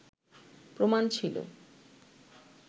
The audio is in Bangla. প্রমাণ ছিল